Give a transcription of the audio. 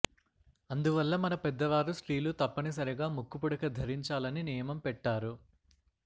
అందువల్ల మన పెద్దవారు స్త్రీలు తప్పని సరిగా ముక్కు పుడక ధరించాలని నియమం పెట్టారు